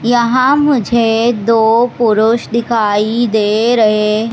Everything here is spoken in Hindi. यहां मुझे दो पुरुष दिखाई दे रहे--